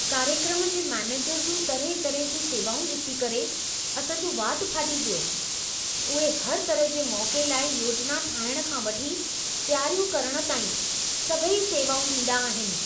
कार्यक्रम जे मैनेजर जूं तरहें तरहें जूं सेवाउं ॾिसी करे असां जो वात फाटी पियो। उहे हर तरह जे मौक़े लाइ योजना ठाहिणु खां वठी तयारियूं करण ताईं सभई सेवाऊं ॾींदा आहिनि।